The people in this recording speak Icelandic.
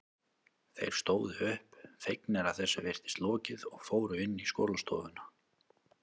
Þeir stóðu upp, fegnir að þessu virtist lokið og fóru inn í skólastofuna.